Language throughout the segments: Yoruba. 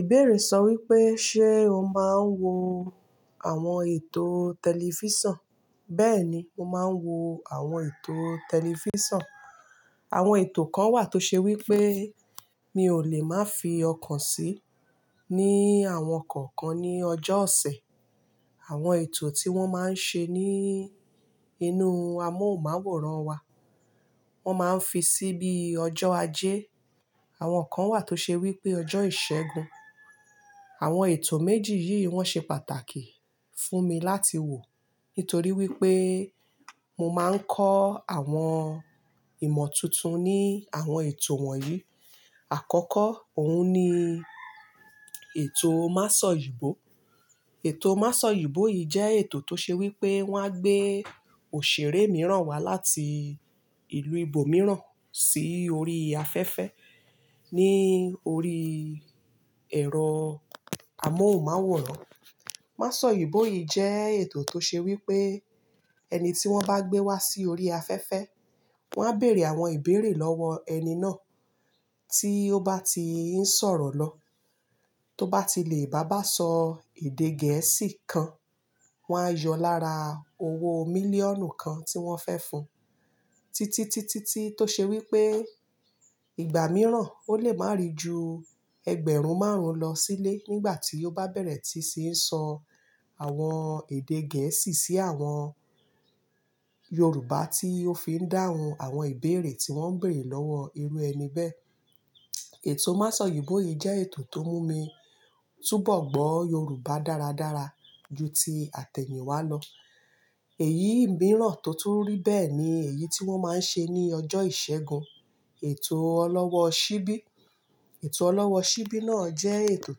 Ìbéèrè sọ wípé, ṣe o máa ń wo àwọn ètò tẹlifísàn? Bẹ́ẹ̀ni, mo máa ń wo àwọn ètò tẹlifísàn. Àwọn ètò kan wà tó ṣe wípé Mi ò lè má fi ọkàn sí, ní àwọn kọ̀ọ̀kan ní ọjọ́ ọ̀sẹ̀. Àwọn ètò tí wón máa ń ṣe ní inú amóhùnmáwòrán wa, wón máa ń fi sí bí ọjọ́ ajé. Àwọn kan wà tó ṣe wípé ọjọ́ ìṣẹ́gun. Àwọn ètò méjì yìí wón ṣe pàtàkì fúnmi láti wò, nítorí wípé, mo máa ń kọ́ àwọn ìmọ̀ tuntun ní àwọn ètò wọ̀nyí. Àkọ́kọ́, òun ni ètò máṣọ̀yìnbó. Ètò máṣọ̀yìnbó yìí jẹ́ ètò tó ṣe wípé wón á gbé òṣèré mìíràn wá láti ìlú ibo mìíràn sí orí afẹ́fẹ́ ní orí ẹ̀rọ amóhùnmáwòrán. Máṣọ̀yìnbó yìí jẹ́ ètò tó ṣe wípé, Eni tí wón bá gbé wá sí orí afẹ́fẹ́, wón á bèèrè àwọn ìbéèrè lọ́wọ ẹni náà, tí ó bá ti ń sọ̀rọ̀ lọ, Tó bá ti lè bá bá sọ èdè Gẹ̀ẹ́sì kan, wón á yọ lára owó mílíọ̀nù kan tí wọ́n fẹ́ fún. Títí, títí, tíi, tó ṣe wípé ìgbà mìíràn ó lè má ri ju ẹgbẹ̀rún márùn-ún lọ sílé nígbà tí ó bá bẹ̀rẹ̀ tí ṣí n sọ, àwọn èdè Gẹ̀ẹ́sì sí àwọn Yorùbá tí ó fi ń dáhùn àwọn ìbéèrè tí wón ń bèèrè lọ́wọ́ irú ẹni bẹ́ẹ̀. Ètò máṣọ̀yìnbó yìí jẹ́ ètò tó mú mi túbọ̀ gbọ́ Yorùbá dára dára ju ti àtẹ̀níwá lọ, Èyí mìíràn tó tún rí bẹ́ẹ̀ ni èyí tí wón máa ń ṣe ní ọjọ́ ìṣẹ́gun, ètò ọlọ́wọ́ ṣíbí. Ètò ọlọ́wọ́ ṣíbí náà jẹ́ ètò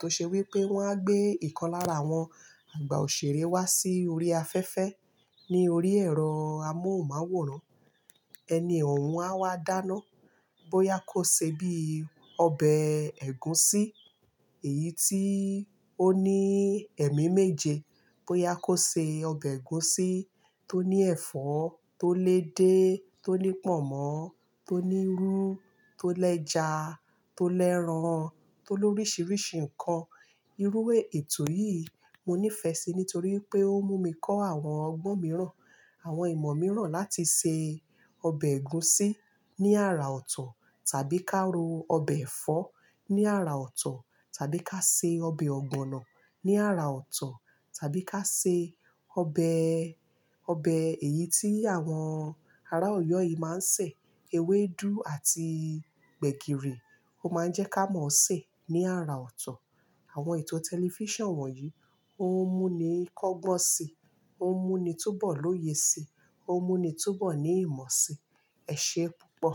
tó ṣe wípé wón á gbé ìkan lára àwọn àgbà òṣèré wá sí orí afẹ́fẹ́ ní orí ẹ̀rọ amóhùnmáwòrán. Ẹni ò hun á wá dáná, bóyá kó ṣe bí ọbẹ̀ ẹ̀gúsí, Eyí tí ó ní ẹ̀mí méje, bóyá kó ṣe ọbẹ̀ ẹ̀gúsí tó ní ẹ̀fọ́, tó lé edé, tó ní pọ̀nmọ́, tó ní irú, tó lẹ́ja, tó lẹ́ran, tó lórísìírísìí nǹkan. Irú e, ètò yìí mo nífẹ̀ẹ́ sí nítorí wipé ó mú mi kọ́ àwọn ọgbọ́n mìíràn, àwọn ìmọ̀ mìíràn láti ṣe e, Obẹ̀ ẹ̀gúsí ní ara ọ̀tọ̀ tàbí ká ro ọbẹ̀ ẹ̀fọ́ ní ara ọ̀tọ̀ tàbí ká ṣe ọbẹ̀ ọ̀gbọ̀nọ̀ ní ara ọ̀tọ̀ tàbí ká ṣe ọbẹ̀, Obẹ̀ èyí tí àwọn ará Ọ̀yọ́ yìí máa ń sè, ewédú àti gbẹ̀gìrì, ó máa ń jẹ́ ká mọ̀ọ́ sè ní ara ọ̀ tọ̀. Àwọn ètò tẹlifísàn wọ̀nyí ó ń mú mi kọ́gbọ́n si, ó ń mú mi túbọ̀ lóye si, ó ń mú mi túbọ̀ ní ìmọ̀ si. Ẹ ṣé púpọ̀.